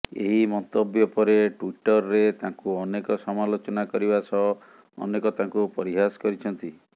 ଏହି ମନ୍ତବ୍ୟ ପରେ ଟ୍ବିଟରରେ ତାଙ୍କୁ ଅନେକ ସମାଲୋଚନା କରିବା ସହ ଅନେକ ତାଙ୍କୁ ପରିହାସ କରିଛନ୍ତି